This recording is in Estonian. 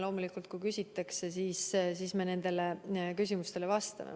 Loomulikult, kui küsitakse, siis me vastame.